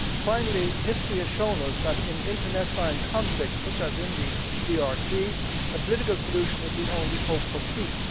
Finally, history has shown us that, in internecine conflicts such as in the DRC, a political solution is the only hope for peace.